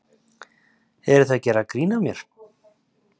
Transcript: Eruð þið að gera grín að mér?